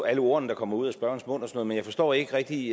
alle ordene der kommer ud ad spørgerens mund jeg forstår ikke rigtig